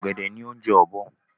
Ọ̀gẹ̀dẹ̀ ni oúnjẹ ọ́bọ́